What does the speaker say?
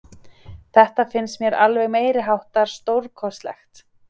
Þetta finnst mér alveg meiriháttar stórkostlegt.